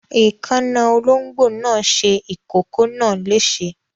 Èékánná olóńgbò náà ti ṣe ìkókó náà léṣe.